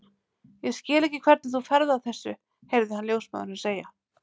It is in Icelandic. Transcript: Ég skil ekki hvernig þú ferð að þessu heyrði hann ljósmóðurina segja.